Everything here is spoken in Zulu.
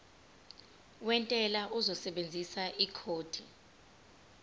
wentela uzosebenzisa ikhodi